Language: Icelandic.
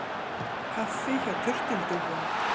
Kaffi hjá turtildúfum